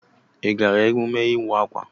I gaara emume ịwa akwa?